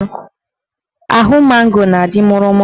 Ahụ mango na-adị mụrụ mụrụ